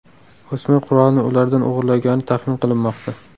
O‘smir qurolni ulardan o‘g‘irlagani taxmin qilinmoqda.